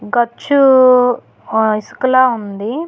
ఖర్చు ఆ ఇసక లా ఉంది.